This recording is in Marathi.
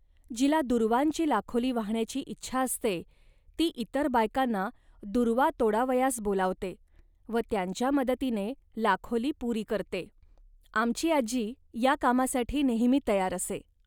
जिला दूर्वांची लाखोली वाहण्याची इच्छा असते, ती इतर बायकांना दूर्वा तोडावयास बोलावते व त्यांच्या मदतीने लाखोली पुरी करते. आमची आजी या कामासाठी नेहमी तयार असे